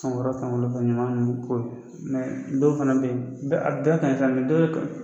ka ɲaman ninnu ko ye dɔw fana bɛ ye a bɛ bɛɛ kan sisan dɔw